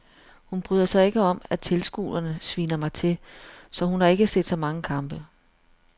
Hun bryder sig ikke om at tilskuerne sviner mig til, så hun har ikke set så mange kampe.